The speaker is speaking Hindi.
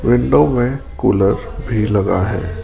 विंडो में कूलर भी लगा है।